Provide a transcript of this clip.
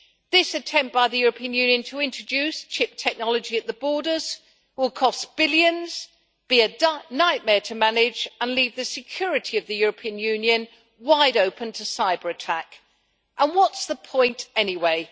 This attempt by the European Union to introduce chip technology at the borders will cost billions, be a nightmare to manage and leave the security of the European Union wide open to cyberattack. And what's the point, anyway?